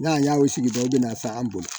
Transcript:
N'a y'a o sigi dɔn i bɛna ta an bolo